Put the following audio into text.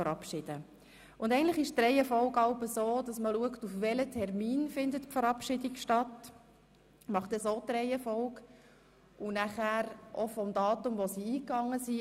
Und normalerweise ist die Reihenfolge so, dass man schaut, auf welchen Termin die Verabschiedung stattfindet, wobei das Datum des Eingangs des Rücktritts ausschlaggebend ist.